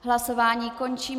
Hlasování končím.